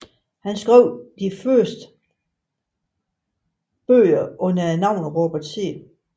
Han skrev de fleste bøger under navnet Robert C